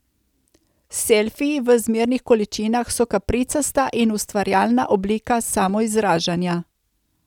Selfiji v zmernih količinah so kapricasta in ustvarjalna oblika samoizražanja.